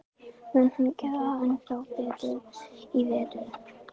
Mun hann gera ennþá betur í vetur?